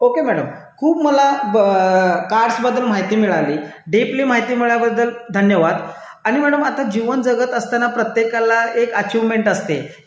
okay madam खूप मला card बद्दल माहिती मिळाली डीपी माहिती मिळाल्याबद्दल धन्यवाद आणि आता जीवन जगत असताना प्रत्येकाला एक अचिव्हमेंट असते